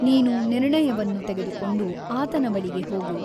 ನೀನು ನಿರ್ಣಯವನ್ನು ತೆಗೆದುಕೊಂಡು ಆತನ ಬಳಿಗೆ ಹೋಗು.